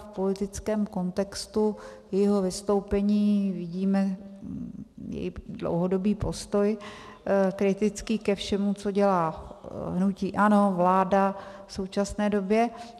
V politickém kontextu jejího vystoupení vidíme její dlouhodobý postoj, kritický ke všemu, co dělá hnutí ANO, vláda v současné době.